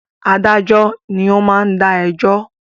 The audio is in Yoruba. Adájọ́ ni o ma ń dá ẹjọ́